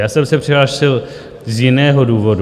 Já jsem se přihlásil z jiného důvodu.